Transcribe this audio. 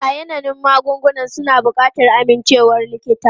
Ayanannun magungunan suna buƙatar amincewar likita.